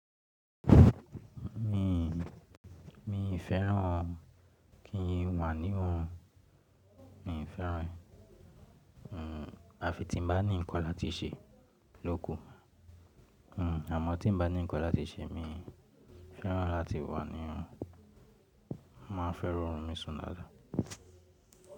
Mii, mii fẹ́ràn kí n wà ní oorun, mii fẹ́ràn ẹ. À fi tí n bá ní nǹkan láti ṣe ló kù. Hmm, àmọ́ tí n bá ní nǹkan láti ṣe mi fẹ́ràn láti wà nírun. Máa ń fẹ́ rí oorun mí sùn dáadáa.